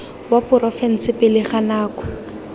wa porofense pele ga nako